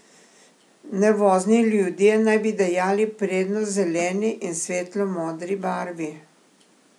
Nervozni ljudje naj bi dajali prednost zeleni in svetlo modri barvi.